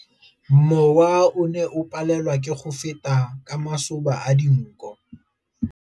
Mowa o ne o palelwa ke go feta ka masoba a dinko.